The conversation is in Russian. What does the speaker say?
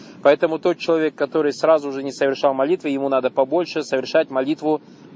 поэтому тот человек который сразу же не совершал молитву ему надо побольше совершать молитву